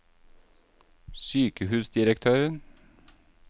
sykehusdirektøren